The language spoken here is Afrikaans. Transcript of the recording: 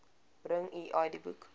bring u idboek